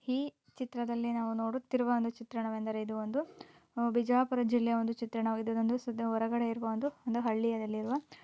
ಈ ಚಿತ್ರದಲ್ಲಿ ನಾವು ನೋಡುತ್ತಿರುವ ಒಂದು ಚಿತ್ರಣ ಇದು ಒಂದು ಬಿಜಾಪುರ ಜಿಲ್ಲಾ ಒಂದು ಚಿತ್ರ ಇದು ಒಂದು ಶುದ್ಧ ಹೊರೆಗಡೆ ಇರುವ ಒಂದು ಹಳ್ಳಿ